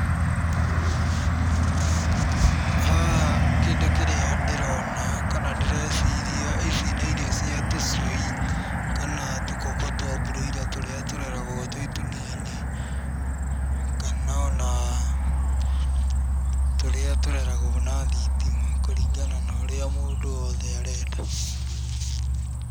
Haha kĩndũ kĩrĩa ndĩrona kana ndĩreciria, ici nĩ irio cia tũcui kana tũkũkũ twa broiler tũrĩa tũreragwo twĩ tũnini, kana o na tũrĩa tũreragwo na thitima, kũringana na ũrĩa mũndũ o wothe arenda.